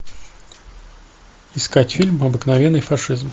искать фильм обыкновенный фашизм